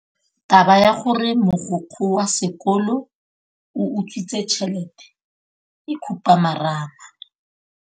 Taba ya gore mogokgo wa sekolo o utswitse tšhelete ke khupamarama.